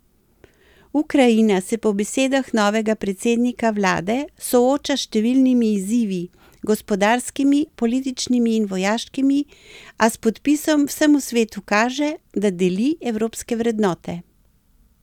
Ukrajina se po besedah novega predsednika vlade sooča s številnimi izzivi, gospodarskimi, političnimi in vojaškimi, a s podpisom vsemu svetu kaže, da deli evropske vrednote.